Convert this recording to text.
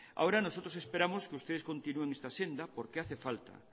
ahora nosotros esperamos que ustedes continúen esta senda porque hace falta